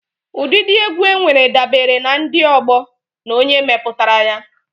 Ụdịdị egwu enwere dabere na ndi, ọgbọó, na onye meputara ya.